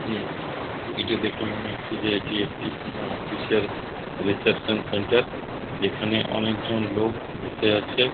এটি দেখে মনে হচ্ছে যে এটি একটি কোনো অফিস -এর রিসেপশন সেন্টার যেখানে অনেক জন লোক বসে আছে।